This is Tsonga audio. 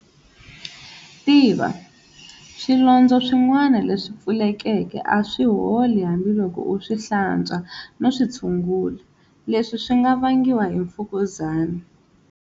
Tiva-Swilondzo swin'wana leswi pfulekeke a swi holi hambiloko u swi hlantswa no swi tshungula, leswi swi nga vangiwa hi mfukuzana.